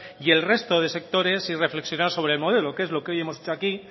y el resto de sectores y reflexionar sobre el modelo que es lo que hoy hemos hecho aquí